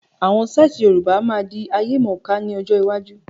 Àwọn sítai Yorùbá máa di ayemọ̀ká ni ọjọ́ iwájú.